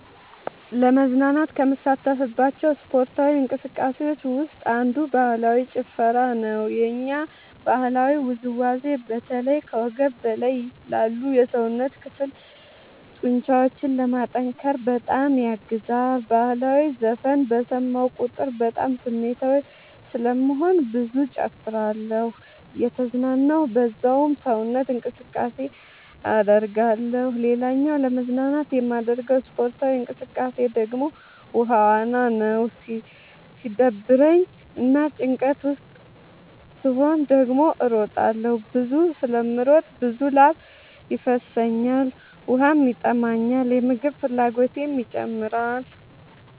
ለመዝናናት ከምሳተፍባቸው ስፓርታዊ እንቅስቃሴዎች ውስጥ አንዱ ባህላዊ ጭፈራ ነው። የኛ ባህላዊ ውዝዋዜ በተለይ ከወገብ በላይ ላሉ የሰውነት ክፍሎ ጡንቻዎችን ለማጠንከር በጣም ያግዛል። በህላዊ ዘፈን በሰማሁ ቁጥር በጣም ስሜታዊ ስለምሆን ብዙ እጨፍራለሁ እየተዝናናሁ በዛውም ሰውነት እንቅስቃሴ አደርጋለሁ። ሌላኛው ለመዝናናት የማደርገው ስፖርታዊ እንቅቃሴ ደግሞ ውሃ ዋና ነው። ሲደብረኝ እና ጭንቀት ውስጥ ስሆን ደግሞ እሮጣለሁ። ብዙ ስለምሮጥ ብዙ ላብ ይፈሰኛል ውሃም ይጠማኛል የምግብ ፍላጎቴም ይጨምራል።